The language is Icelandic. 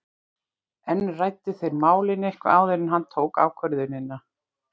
En ræddu þeir málin eitthvað áður en hann tók ákvörðunina?